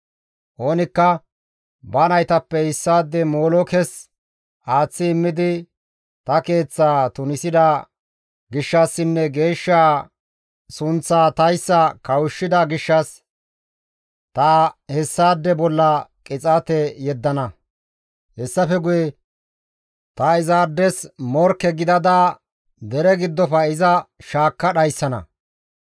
Oonikka ba naytappe issaade molookes aaththi immidi ta keeththaa tunisida gishshassinne geeshshaa sunththaa tayssa kawushshida gishshas ta hessaade bolla qixaate yeddana; hessafe guye ta izaades morkke gidada dere giddofe iza shaakka dhayssana.